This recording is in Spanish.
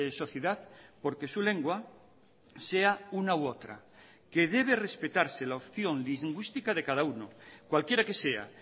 sociedad porque su lengua sea una u otra que debe respetarse la opción lingüística de cada uno cualquiera que sea